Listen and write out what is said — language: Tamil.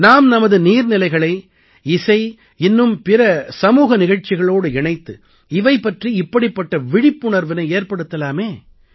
நாம் நமது நீர் நிலைகளை இசை இன்னும் பிற சமூக நிகழ்ச்சிகளோடு இணைத்து இவை பற்றி இப்படிப்பட்ட விழிப்புணர்வினை ஏற்படுத்தலாமே